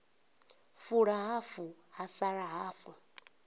fula hafu ha sala hafu